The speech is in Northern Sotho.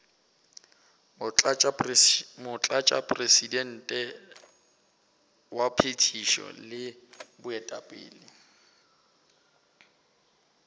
motlatšamopresidente wa phethišo le baetapele